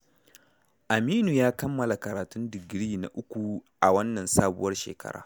Aminu ya kammala karatun digiri na uku a wannan sabuwar shekara.